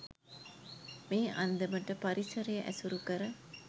මේ අන්දමට පරිසරය ඇසුරු කර